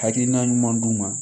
Hakilina ɲuman d'u ma